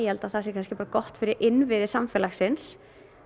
það kannski bara gott fyrir innviði samfélagsins